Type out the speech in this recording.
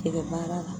Tɛgɛ baara la